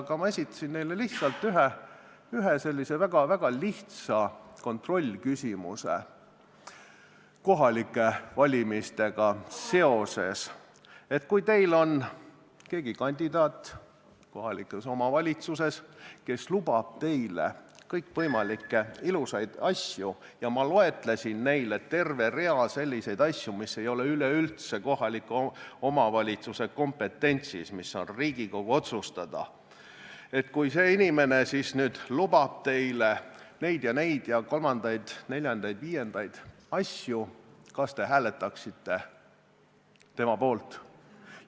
Aga ma esitasin neile ühe väga lihtsa kontrollküsimuse, mis puudutas kohalikke valimisi: oletame, et kohalikus omavalitsuses on keegi kandidaat, kes lubab teile kõikvõimalikke ilusaid asju – ja ma loetlesin neile terve rea selliseid asju, mis ei ole üldse kohaliku omavalitsuse kompetentsis, mis on Riigikogu otsustada –, oletame, et see inimene lubab teile neid ja neid ja kolmandaid, neljandaid, viiendaid asju, kas te hääletaksite tema poolt?